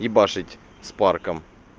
ебашить с парком